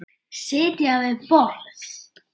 Sitja við borð